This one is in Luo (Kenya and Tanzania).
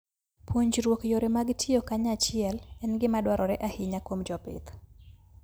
Puonjruok yore mag tiyo kanyachiel en gima dwarore ahinya kuom jopith.